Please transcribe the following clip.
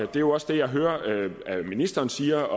det er også det jeg hører ministeren siger og